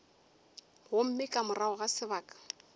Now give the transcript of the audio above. gomme ka morago ga sebaka